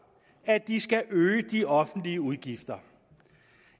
at de skal øge de offentlige udgifter